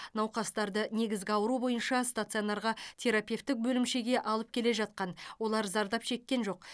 науқастарды негізгі ауру бойынша стационарға терапевтік бөлімшеге алып келе жатқан олар зардап шеккен жоқ